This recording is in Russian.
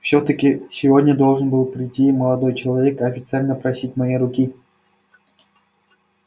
всё-таки сегодня должен был прийти молодой человек официально просить моей руки